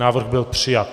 Návrh byl přijat.